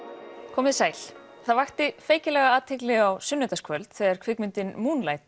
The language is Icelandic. komiði sæl það vakti feykilega athygli á sunnudagskvöld þegar kvikmyndin Moonlight